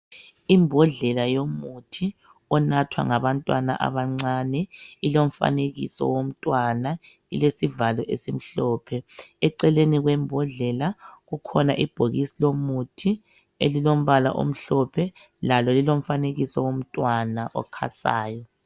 Imbodlela yomuthi onathwa ngabantwana abancane. Ilomfanekiso womntwana, ilesivalo esimhlophe. Eceleni kwembodlela, kukhona ibhokisi lomuthi elilombala omhlophe, lalo lilomfanekiso womntwana okhasayo.